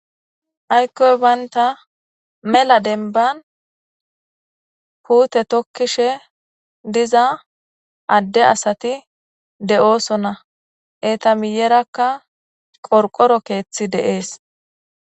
aykkoy banta mela denban puute tokkishe diza adde asati de'ooso na etamiyerakka qorqoro keeththi de'es